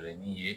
ye